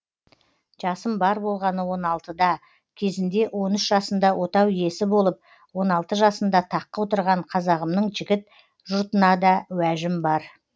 жасым бар болғаны он алтына кезінде он үш жасында отау йесі болып он алты жасында таққа отырған қазағымның жігіт жұртынада уәжім бар